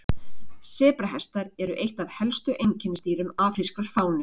sebrahestar eru eitt af helstu einkennisdýrum afrískrar fánu